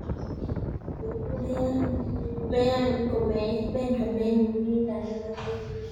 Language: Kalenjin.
Mean komein muguleldo ne matiny